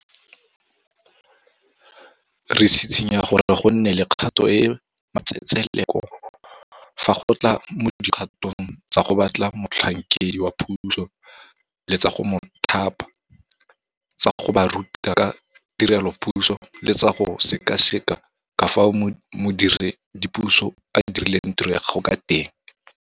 Re tshitshinya gore go nne le kgato e e matsetseleko fa go tla mo dikgatong tsa go batla motlhankedi wa puso le tsa go mo thapa, tsa go ba ruta ka tirelopuso le tsa go sekaseka ka fao modiredipuso a dirileng tiro ya gagwe ka teng.